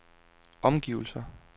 omgivelser